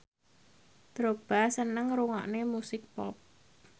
Drogba seneng ngrungokne musik pop